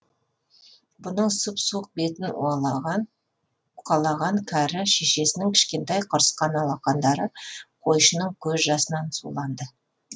бұның сұп суық бетін уқалаған кәрі шешесінің кішкентай құрысқан алақандары қойшының көз жасынан суланды